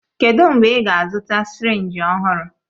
Kedụ mgbe ị ga-azụta sirinji ọhụrụ?